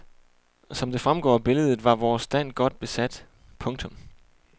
Som det fremgår af billedet var vores stand godt besat. punktum